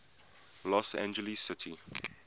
los angeles city